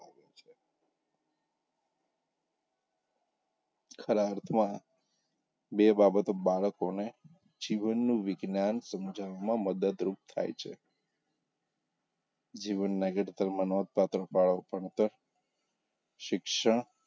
ખરા અર્થમાં બે બાબતો બાળકોને જીવનનું વિજ્ઞાન સમજાવવામાં મદદરૂપ થાય છે જીવનનાં ઘડતરમાં નોંધપાત્ર ફાળો ભણતર શિક્ષણ,